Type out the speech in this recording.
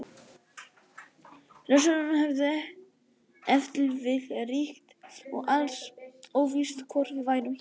Risaeðlurnar hefðu ef til vill ríkt lengur og alls óvíst hvort við værum hér.